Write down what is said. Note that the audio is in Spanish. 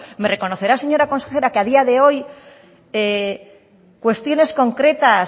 me reconocerá señora consejera que a día de hoy cuestiones concretas